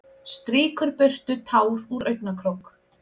Strýkur burtu tár úr augnakrók.